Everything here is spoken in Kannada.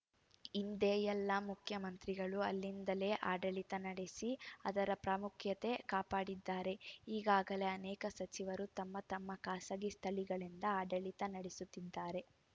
ಹಿಂದೆ ಎಲ್ಲ ಮುಖ್ಯಮಂತ್ರಿಗಳೂ ಅಲ್ಲಿಂದಲೇ ಆಡಳಿತ ನಡೆಸಿ ಅದರ ಪ್ರಾಮುಖ್ಯತೆ ಕಾಪಾಡಿದ್ದಾರೆ ಈಗಾಗಲೇ ಅನೇಕ ಸಚಿವರು ತಮ್ಮ ತಮ್ಮ ಖಾಸಗಿ ಸ್ಥಳಗಳಿಂದ ಆಡಳಿತ ನಡೆಸುತ್ತಿದ್ದಾರೆ